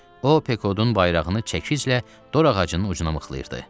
O Pekodun bayrağını çəkişlə dorağacının ucuna mıxlayıbdı.